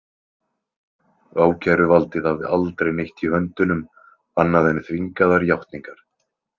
Ákæruvaldið hafði aldrei neitt í höndunum annað en þvingaðar játningar.